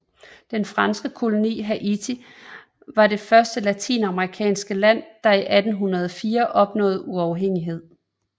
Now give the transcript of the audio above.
Den franske koloni Haiti var det første latinamerikanske land der i 1804 opnåede uafhængighed